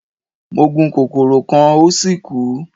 Mo gun kokoro kan o si kú